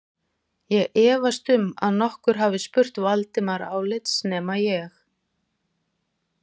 Ég efast um að nokkur hafi spurt Valdimar álits nema ég